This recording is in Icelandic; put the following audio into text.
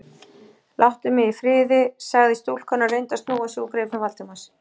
Láttu mig í friði- sagði stúlkan og reyndi að snúa sig úr greipum Valdimars.